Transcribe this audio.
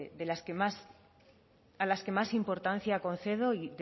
a las que más importancia concedo y